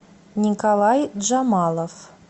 николай джамалов